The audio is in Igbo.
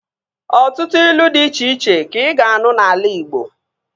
Ọtụtụ ilu dị iche iche ka ị ga-anụ n'ala igbo